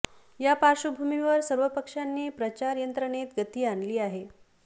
या पार्श्वभूमीवर सर्व पक्षांनी प्रचार यंत्रणेत गती आणली आहे